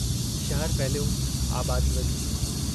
शहर फहिलियो आबादी वधी।